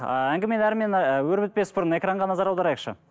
ііі әңгімені әрмен ііі өрбітпес бұрын экранға назар аударайықшы